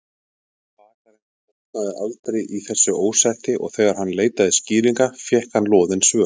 Bakarinn botnaði aldrei í þessu ósætti og þegar hann leitaði skýringa fékk hann loðin svör.